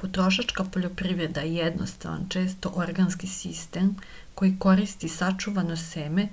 potrošačka poljoprivreda je jednostavan često organski sistem koji koristi sačuvano seme